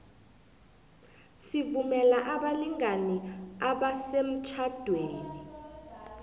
sivumela abalingani abasemtjhadweni